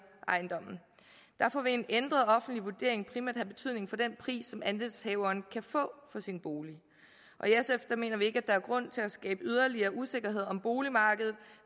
ejendommen derfor vil en ændret offentlig vurdering primært have betydning for den pris som andelshaveren kan få for sin bolig i sf mener vi ikke at der er grund til at skabe yderligere usikkerhed om boligmarkedet